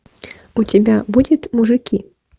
у тебя будет мужики